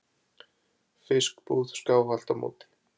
fiskbúð skáhallt á móti.